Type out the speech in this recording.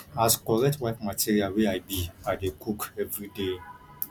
as correct wife material wey i be i dey cook everyday